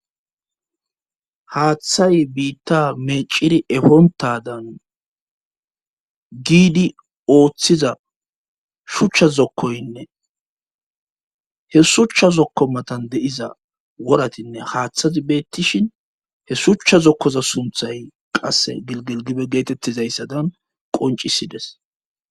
haaththay biitta meciri efontadan giidi ooththiza shuchcha zokkoynne he shuchcha zokko matan de7iza woratinne haaththazi beettishin he shuchcha zokkoza sumthay qasse gilgilgibe geetettizayssadan qoncisides